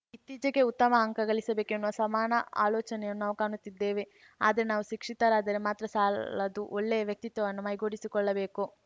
ಇತ್ತೀಚಿಗೆ ಉತ್ತಮ ಅಂಕ ಗಳಿಸಬೇಕು ಎನ್ನುವ ಸಮಾನ ಆಲೋಚನೆಯನ್ನು ನಾವು ಕಾಣುತ್ತಿದ್ದೇವೆ ಆದರೆ ನಾವು ಸುಶಿಕ್ಷತರಾದರೆ ಮಾತ್ರ ಸಾಲದು ಒಳ್ಳೆಯ ವ್ಯಕ್ತಿತ್ವವನ್ನು ಮೈಗೂಡಿಸಿಕೊಳ್ಳಬೇಕು